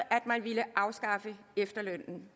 at man ville afskaffe efterlønnen